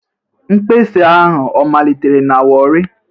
Mkpesa a ọ malitere na Warri?